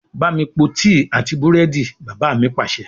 Bámi po tíì àti búrẹ́dì! Bàbá mi Pàṣẹ.